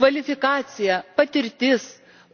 Kvalifikacija, patirtis,